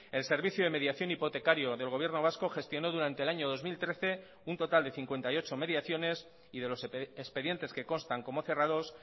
el servicio de mediación hipotecario del gobierno vasco gestionó durante el año dos mil trece un total de cincuenta y ocho mediaciones y de los expedientes que constan como cerrados